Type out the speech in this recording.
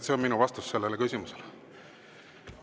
See on minu vastus sellele küsimusele.